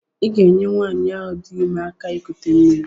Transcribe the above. Ị ga-enyere nwanyị ahụ dị ime aka ikute mmiri.